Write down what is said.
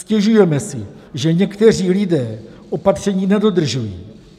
Stěžujeme si, že někteří lidé opatření nedodržují.